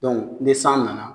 Dɔnku ne san nana